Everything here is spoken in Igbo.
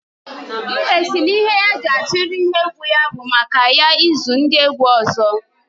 Mbe sị na ihe ya ji achiri ihe egwu ya bụ maka ya ezu ndị egwu ọzọ